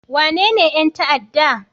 Wanene 'yan ta'adda?